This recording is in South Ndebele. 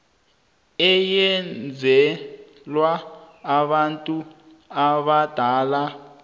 eyenzelwa abantu abadala